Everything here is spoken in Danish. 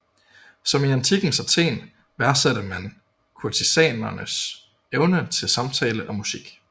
Som i antikkens Athen værdsatte man kurtisanens evne til samtale og musik